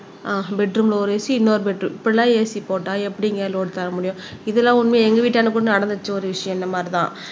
ஆஹ் பெட்ரூம்ல ஒரு AC இன்னொரு பெட் இப்படி எல்லாம் AC போட்டா எப்படிங்க லோடு தர முடியும் இதெல்லாம் உண்மை எங்க வீட்டன்டா கூட நடந்துச்சு ஒரு விஷயம் இந்த மாதிரிதான்